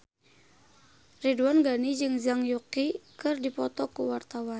Ridwan Ghani jeung Zhang Yuqi keur dipoto ku wartawan